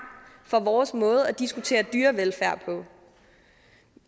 for vores måde at diskutere dyrevelfærd på